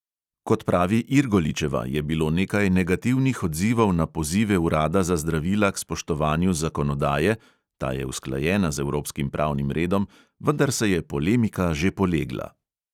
Kot pravi irgoličeva, je bilo nekaj negativnih odzivov na pozive urada za zdravila k spoštovanju zakonodaje ta je usklajena z evropskim pravnim redom vendar se je polemika že polegla.